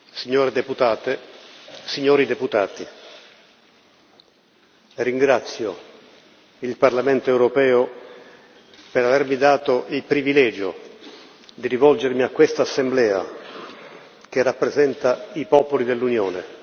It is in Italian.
signore deputate, signori deputati, ringrazio il Parlamento europeo per avermi dato il privilegio di rivolgermi a questa Assemblea, che rappresenta i popoli dell'Unione.